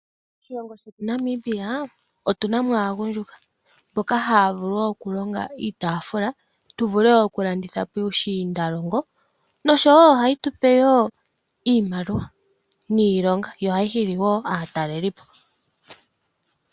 Moshilongo shetu Namibia otu na mo aagundjuka mboka haa vulu okulonga iitafula tu vule okulanditha puushindalongo tse tu imonene iimaliwa .